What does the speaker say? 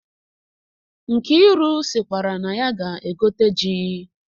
Nkiru sikwara na ya ga-egote ji.